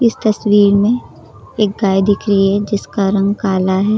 तस्वीर में एक गाय दिख रही है जिसका रंग काला है।